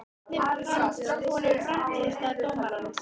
Hvernig fannst honum frammistaða dómarans?